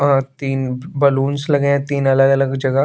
अ तीन बलूनस लगे हैं तीन अलग अलग जगह --